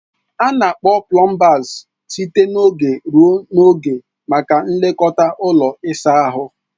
A na-akpọ plumbers site n'oge ruo n'oge maka nlekọta ụlọ ịsa ahụ.